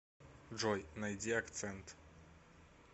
джой найди акцент